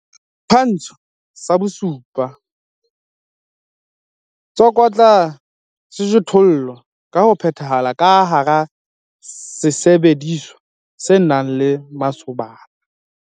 Setshwantsho sa 7. Tsokotsa sejothollo ka ho phethahala ka hara sesebediswa se nang le masobana.